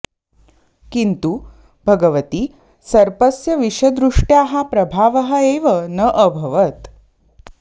किन्तु भगवति सर्पस्य विषदृष्ट्याः प्रभावः एव न अभवत्